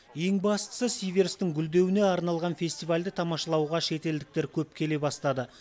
ең бастысы сиверстің гүлдеуіне арналған фестивальді тамашалауға шетелдіктер көп келе бастады